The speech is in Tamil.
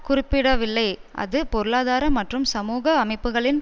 குறிப்பிடவில்லைஅது பொருளாதார மற்றும் சமூகஅமைப்புகளின்